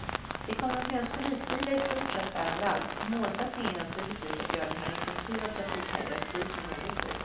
Det kommer att finnas polisbilar i stort sett överallt, och målsättningen är naturligtvis att göra den här intensiva trafikhelgen fri från olyckor.